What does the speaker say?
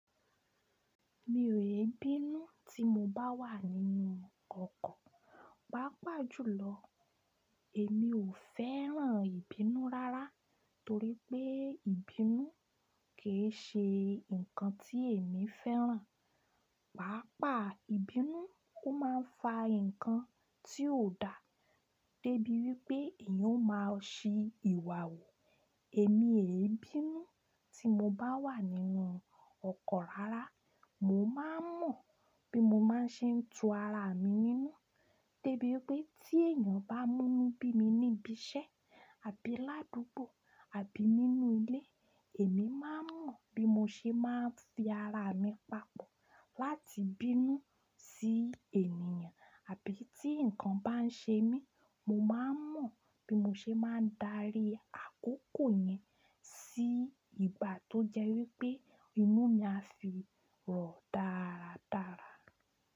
Mi ò lè bínú tí mo bá wà nínú ọkọ̀, pàápàá jùlọ èmi ò fẹ́ràn ìbínú rárá torí pé ìbínú kì í ṣe nǹkan tí èmi fẹ́ràn. Pàápàá ìbínú ó máa ń fa nǹkan tí ò da, dé bí wípé èèyàn ó máa ṣi ìwà hù. Èmi èé bínú tí mo bá wà nínú ọkọ̀ rárá, mo máa ń mọ̀ bí mo máa ṣe ń tu ara mi nínú, dé bí wípé tí èèyàn bá mú'nú bí mi níbi iṣẹ́ àbí ládùúgbò àbí nínú ilé, èmi máa ń mọ̀ bí mo ṣe máa fi ara mi papọ̀ láti bínú sí ènìyàn. Àbí tí nǹkan bá ṣe mí, mo máa ń mọ̀ bí mo ṣe máa darí àkókò yẹn sí igbà tó jẹ́ wípé inú mi á sì rọ̀ dáradára.